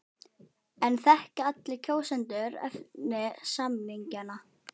En þekkja allir kjósendur efni samninganna?